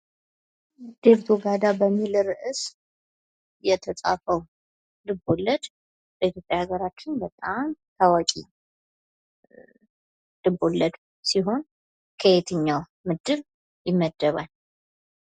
ዴርቶጋዳ በሚል ርዕስ የተፃፈው ልቦለድ በኢትዮጵያ አገራችን በጣም ታዋቂ ልቦለድ ሲሆን ከየትኛው ምድብ ይመደበል?